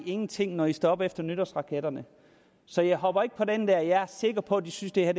ingen ting når de står op dagen efter nytårsraketterne så jeg hopper ikke på den der jeg er sikker på at de synes det er